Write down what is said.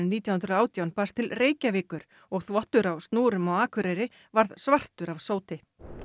nítján hundruð og átján barst til Reykjavíkur og þvottur á snúrum á Akureyri varð svartur af sóti